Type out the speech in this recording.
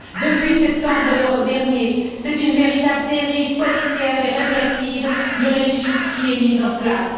Depuis septembre dernier, c'est une véritable dérive policière et répressive du régime qui est mise en place.